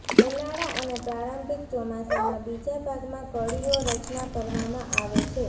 ઉનાળા અને પ્રારંભિક ચોમાસામાં બીજા ભાગમાં કળીઓ રચના કરવામાં આવે છે